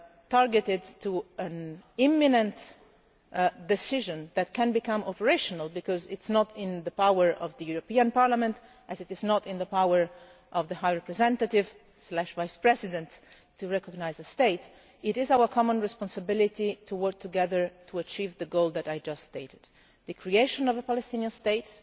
case, targeted at an imminent decision that can become operational because it is not in the power of the European Parliament, as it is not in the power of the High Representative Vice President, to recognise a state it is our common responsibility to work together to achieve the goal that I just stated the creation of a Palestinian